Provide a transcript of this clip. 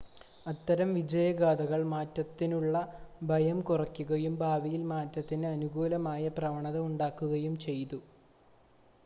അത്തരം വിജയഗാഥകൾ മാറ്റത്തിനുള്ള ഭയം കുറയ്ക്കുകയും ഭാവിയിൽ മാറ്റത്തിന് അനുകൂലമായ പ്രവണത ഉണ്ടാക്കുകയും ചെയ്തു